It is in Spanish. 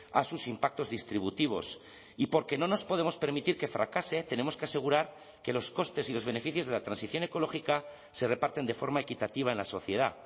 a sus impactos distributivos y porque no nos podemos permitir que fracase tenemos que asegurar que los costes y los beneficios de la transición ecológica se reparten de forma equitativa en la sociedad